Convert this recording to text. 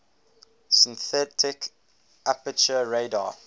synthetic aperture radar